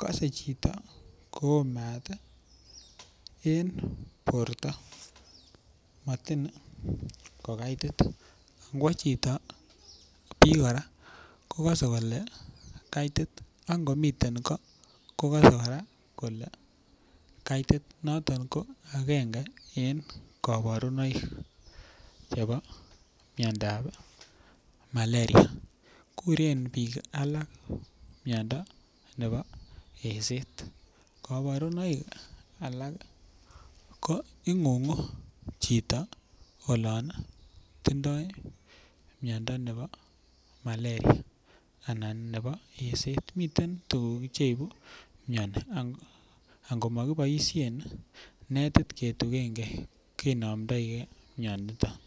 kase chito koo maat en porto matiny ko kaitit. Ngowa chito pii kor a ko kase kole kaitit angot ngomitrn ko, ko ksse kora kole kaitit. Noton ko agenge en kaparunoik chepo mindoap Malaria. Kuren piik alak mindo nepo eset. Kaparunoik alak ko ing'ung'u chito olan tindai miondo nepo Malaria anan ko eset. Miten tuguk cheipu miani, angomakipaishe nentut ketuchen gee kinamdaige miani.